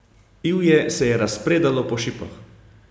Ivje se je razpredalo po šipah.